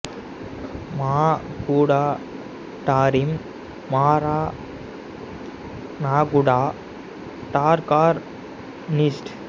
மா குடா டாரீம் மாரா நாகுடா டார் கார் நீஸ்ட்